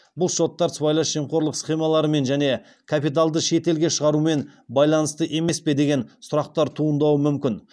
бұл шоттар сыбайлас жемқорлық схемаларымен және капиталды шетелге шығарумен байланысты емес пе деген сұрақтар туындауы мүмкін